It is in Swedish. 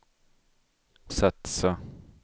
satsa